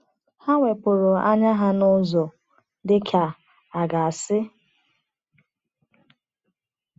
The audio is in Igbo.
Ha wepụrụ anya ha n’ụzọ, dị ka a ga-asị.